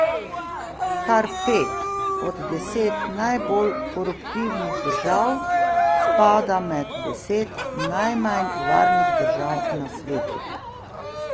Kar pet od desetih najbolj koruptivnih držav spada med deset najmanj varnih držav na svetu.